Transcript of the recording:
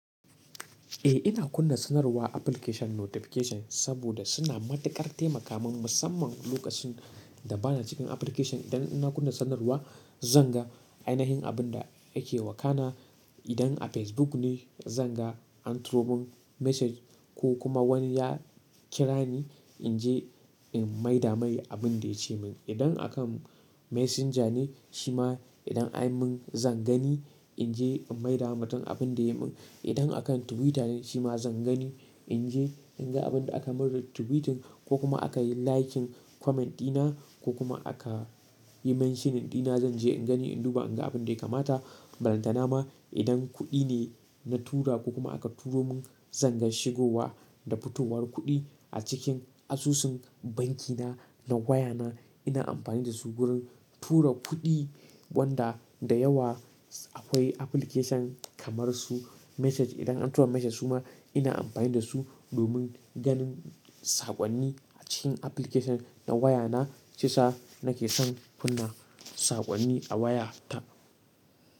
Eh ina kunna sanarwar application notification saboda suna matukar taimaka min musamman lokacin. Da bana cikin application. Idan ina kunna sanarwa zan ga ainihin abin da yake wakana. Idan a Facebook ne zan ga an turo mun message ko kuma wani ya kira ni in je in maida mai abin da ya ce min. Idan a kan messenger ne shima idan anyi mun zan gani in je in maidawa mutum abunda yayi mun, idan a kan Twitter ne shima zan gani in je in ga abunda akai mun tweeting ko kuma akai linking comment ɗina. Yi mentioning ɗina zan je in gani in duba in ga abin da ya kamata. Balantana ma idan kuɗi ne na tura ko kuma aka turo mun zan ga shigowa da fitowar kuɗi a cikin asusun banki na. Na waya na ina amfani da su gurin tura kuɗi wanda da yawa akwai application kamar su message. Idan an turan message su ma ina amfani da su domin ganin saƙonni a cikin application na waya na. Sa nake son kunna sakonni a waya ta.